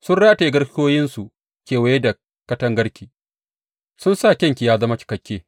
Sun rataye garkuwoyinsu kewaye da katangarki; sun sa kyanki ya zama cikakke.